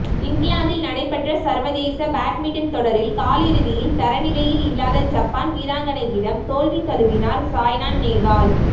இங்கிலாந்தில் நடைபெற்ற சர்வதேச பேட்மின்டன் தொடரின் காலிறுதியில் தரநிலையில் இல்லாத ஜப்பான் வீராங்கனையிடம் தோல்வி தழுவினார் சாய்னா நேவால்